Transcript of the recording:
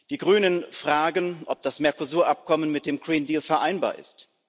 Die Grünen fragen, ob das Mercosur Abkommen mit dem vereinbar ist.